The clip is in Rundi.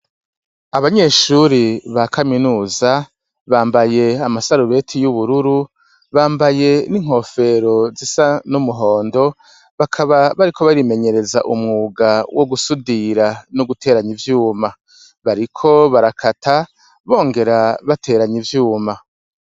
Abanyeshure ba kaminuza bambaye amasarubeti yubururu bambaye n’inkofero zisa n’umuhondo bakaba bariko barimenyereza umwuga wo gusudira no guteranya ivyuma bariko barakata bongera bateranya ivyuma.